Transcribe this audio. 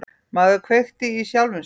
Maður kveikti í sjálfum sér